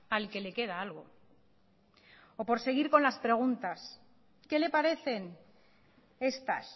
al que le queda algo o por seguir con las preguntas qué le parecen estas